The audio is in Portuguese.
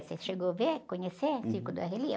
Você chegou a ver, conhecer?hum. circo do Arrelia?